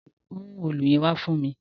Mú òòlù yẹn wá fún mí!